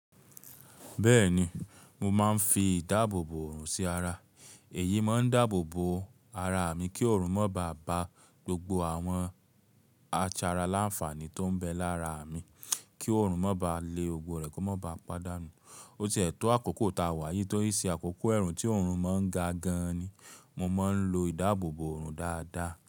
Bẹ́ẹ̀ni, mo máa ń fi ìdáàbòbò òòrùn sí ara. Èyí máa ń dáàbò bo ara mi kí òòrùn máa ba gbogbo àwọn a sara láǹfààní tó ń bẹ lára mi, kí òòrùn má ba le gbobo rẹ̀ kó má ba pàdánù. Ó ti è tò àkókò tá a wà yìí tí ń ṣe àkókò èèrùn tí òòrùn má ń ga gan ni. Mo ma ń lo ìdáàbòbò òòrùn dáadáa.